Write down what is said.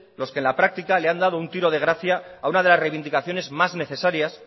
los que en la práctica le han dado un tiro de gracia a una de las reivindicaciones más necesarias